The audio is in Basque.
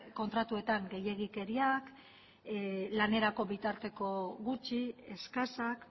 kontratuetan gehiegikeriak lanerako bitarteko gutxi eskasak